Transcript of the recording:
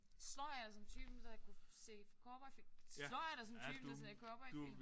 Slår jeg dig som typen der kunne se cowboyfilm? Slår jeg dig som typen der ser cowboyfilm?